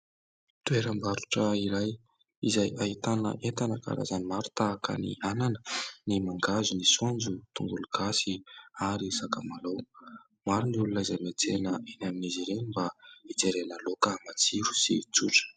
Toeram-barotra iray izay ahitana entana karazany maro tahaka ny : anana, ny mangahazo, ny saonjo, ny tongolo gasy ary sakamalaho. Maro ny olona izay miantsena eny amin'izy ireny mba hijerena laoka matsiro sy tsotra.